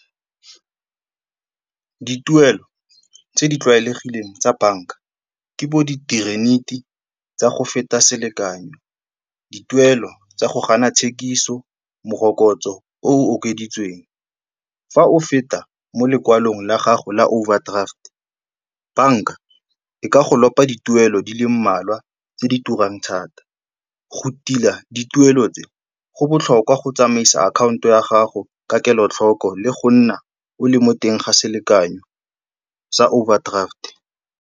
Dituelo tse di tlwaelegileng tsa banka ke tsa go feta selekanyo, dituelo tsa go gana tshekiso, morokotso o o okeditsweng. Fa o feta mo lekwalong la gago la overdraft, banka e ka go lopa dituelo di le mmalwa tse di turang thata. Go tila dituelo tse, go botlhokwa go tsamaisa akhaonto ya gago ka kelotlhoko le go nna o le mo teng ga selekanyo sa overdraft-e.